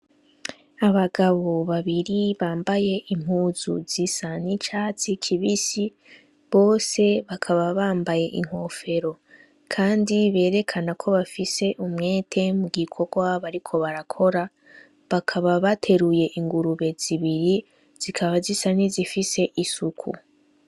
Abagabo babiri bambaye impuzu zisa n'icatsi kibisi, bose bakaba bambaye inkofero .kandi berekana ko bafise umwete mugikorwa bariko barakora, bakaba bateruye ingurube zibiri zikaba zisa nizifise isuku.